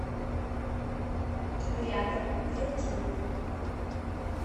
рядом вилкинет